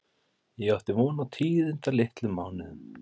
Ég átti von á tíðindalitlum mánuðum.